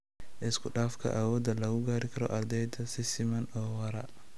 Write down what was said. Isku-dhafka (awoodda lagu gaari karo ardayda si siman oo waara)